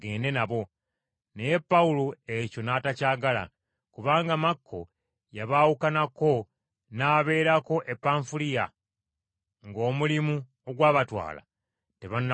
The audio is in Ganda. Naye Pawulo ekyo n’atakyagala, kubanga Makko yabaawukanako n’abaleka e Panfuliya ng’omulimu ogwabatwala tebannagumaliriza.